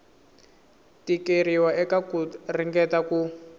tikeriwa eka ku ringeta ku